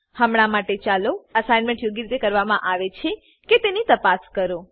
હમણાં માટે ચાલો અસાઇનમેન્ટ યોગ્ય રીતે કરવામાં આવે છે કે તેની તપાસ કરો